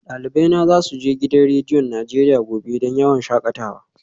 Dalibai na za su je gidan rediyon Najeriya gobe don yawon shakatawa